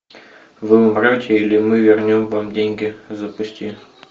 вы умрете или мы вернем вам деньги запусти